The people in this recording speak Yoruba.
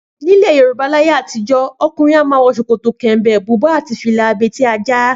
Nílẹ̀ Yorùbá láyé àtijó, ọkùnrin a máa wọ ṣòkòtò kẹ̀m̀bẹ̀, bùbá àti fìlà abetí-ajá